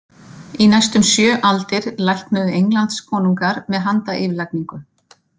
Í næstum sjö aldir læknuðu Englandskonungar með handayfirlagningu.